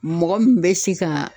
Mɔgɔ min bɛ se ka